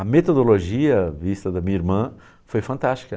A metodologia vista da minha irmã foi fantástica.